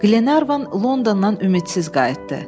Glenarvan Londondan ümidsiz qayıtdı.